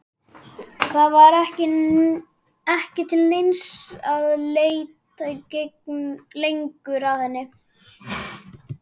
Það var ekki til neins að leita lengur að henni.